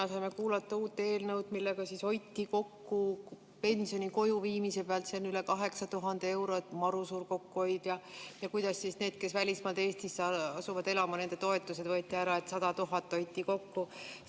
Me saime kuulata siin täna uue eelnõu kohta, millega hoitakse pensioni kojuviimise pealt kokku üle 8000 euro – maru suur kokkuhoid – ja neilt, kes asuvad välismaalt Eestisse elama, võetakse toetused ära, et 100 000 kokku hoida.